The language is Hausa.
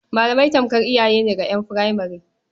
Malamai tamkar iyaye ne ga ƴan furemare.